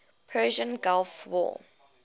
persian gulf war